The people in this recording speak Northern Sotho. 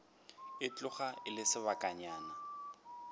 e tloga e le sebakanyana